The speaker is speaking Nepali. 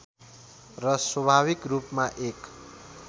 र स्वाभाविक रूपमा एक